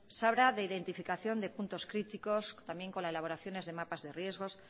se habla de identificación de puntos críticos también con la elaboración de mapas de riesgos